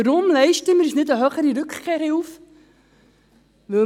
Weshalb leisten wir uns keine höhere Rückkehrhilfe?